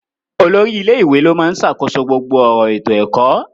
Olórí ilé ìwé ló máa ń ṣàkóso gbogbo ọ̀rọ̀ ètò ẹ̀kọ́.